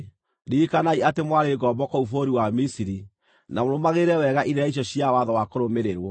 Ririkanai atĩ mwarĩ ngombo kũu bũrũri wa Misiri, na mũrũmagĩrĩre wega irĩra icio cia watho wa kũrũmĩrĩrwo.